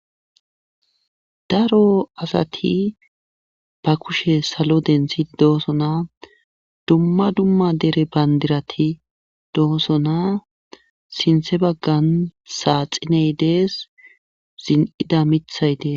Daro asati ba kushe salo dentshi dooso na dumma dumma dere bandirati dooso na sinthe baggan saaxiney dees zin'ida mithayde.